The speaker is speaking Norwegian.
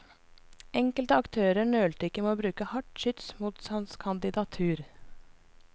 Enkelte aktører nølte ikke med å bruke hardt skyts mot hans kandidatur.